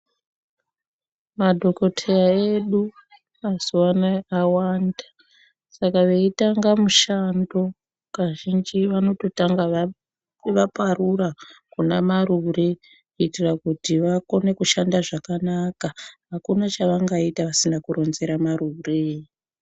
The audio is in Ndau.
Madhokodheya edu mazuvanaya awanda, saka veitanga mushando kazhinji vanototanga vaparura kuna marure kuitira kuti vakone kushanda zvakanaka, akuna chavangaita vasina kuronzere marure.